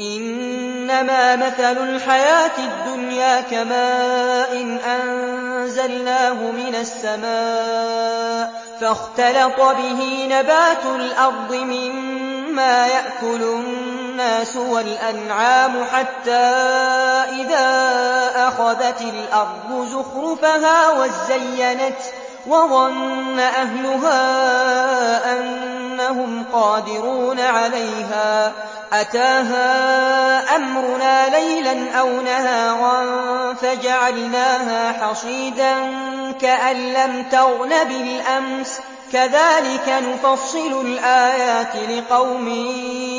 إِنَّمَا مَثَلُ الْحَيَاةِ الدُّنْيَا كَمَاءٍ أَنزَلْنَاهُ مِنَ السَّمَاءِ فَاخْتَلَطَ بِهِ نَبَاتُ الْأَرْضِ مِمَّا يَأْكُلُ النَّاسُ وَالْأَنْعَامُ حَتَّىٰ إِذَا أَخَذَتِ الْأَرْضُ زُخْرُفَهَا وَازَّيَّنَتْ وَظَنَّ أَهْلُهَا أَنَّهُمْ قَادِرُونَ عَلَيْهَا أَتَاهَا أَمْرُنَا لَيْلًا أَوْ نَهَارًا فَجَعَلْنَاهَا حَصِيدًا كَأَن لَّمْ تَغْنَ بِالْأَمْسِ ۚ كَذَٰلِكَ نُفَصِّلُ الْآيَاتِ لِقَوْمٍ